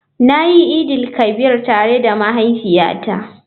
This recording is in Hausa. Na yi idin-il-kabir tare da mahaifiyata.